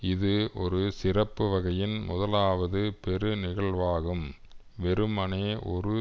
இது ஒரு சிறப்பு வகையின் முதலாவது பெரு நிகழ்வாகும் வெறுமனே ஒரு